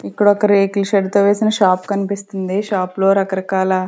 ఇక్కడ ఒక రేకుల షడ్ తో వేసిన షాప్ కనిపిస్తుంది షాప్ లో రకరకాల.